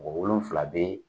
Mɔgɔ wolonfila be